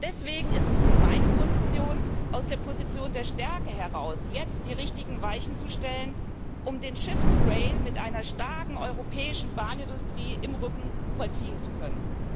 Deswegen ist es meine Position, aus der Position der Stärke heraus jetzt die richtigen Weichen zu stellen, um den Shift to Rail mit einer starken europäischen Bahnindustrie im Rücken vollziehen zu können.